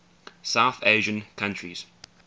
south asian countries